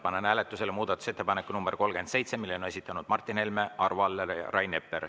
Panen hääletusele muudatusettepaneku nr 37, mille on esitanud Martin Helme, Arvo Aller ja Rain Epler.